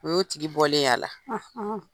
O y'o tigi bɔlen y'a la